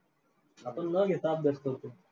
आपण न घेता अभ्यास करतो.